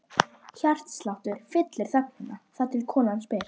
Hjartsláttur fyllir þögnina, þar til konan spyr